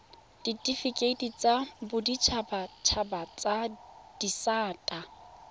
ditifikeiti tsa boditshabatshaba tsa disata